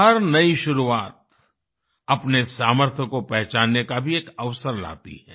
हर नई शुरुआत अपने सामर्थ्य को पहचानने का भी एक अवसर लाती है